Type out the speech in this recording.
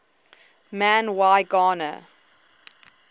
man y gana